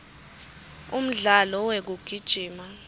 umdlalo wekugijima